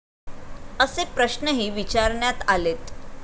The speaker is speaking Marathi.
असे प्रश्ऩही विचारण्यात आलेत.